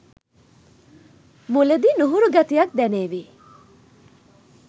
මුලදී නුහුරු ගතියක් දැනේවි.